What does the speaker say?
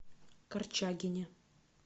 корчагине